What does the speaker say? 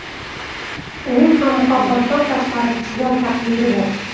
Uning ham muhabbatdan tashqari chigal taqdiri bor.